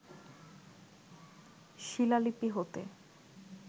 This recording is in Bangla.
শিলালিপি হতে